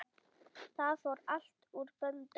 Það fór allt úr böndum.